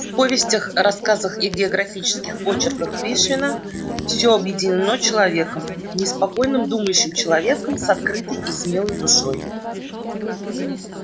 в повестях рассказах и географических очерках пришвина всё объединено человеком неспокойным думающим человеком с открытой и смелой душой